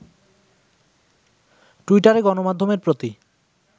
টুইটারে গণমাধ্যমের প্রতি